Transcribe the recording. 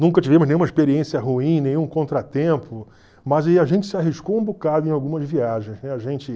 Nunca tivemos nenhuma experiência ruim, nenhum contratempo, mas a gente se arriscou um bocado em algumas viagens a gente